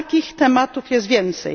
Takich tematów jest więcej.